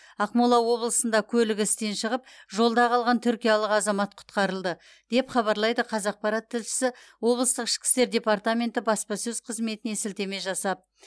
ақмола облысында көлігі істен шығып жолда қалған түркиялық азамат құтқарылды деп хабарлайды қазақпарат тілшісі облыстық ішкі істер департаменті баспасөз қызметіне сілтеме жасап